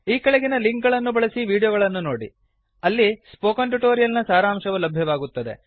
ಈ ಕೆಳಗಿನ ಲಿಂಕ್ ಗಳನ್ನು ಬಳಸಿ ವೀಡಿಯೋಗಳನ್ನು ನೋಡಿ ಅಲ್ಲಿ ಸ್ಪೋಕನ್ ಟ್ಯುಟೋರಿಯಲ್ ನ ಸಾರಾಂಶವು ಲಭ್ಯವಾಗುತ್ತದೆ